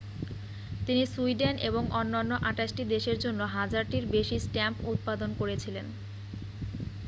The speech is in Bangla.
তিনি সুইডেন এবং অন্যান্য 28টি দেশের জন্য হাজারটির বেশী স্ট্যাম্প উৎপাদন করেছিলেন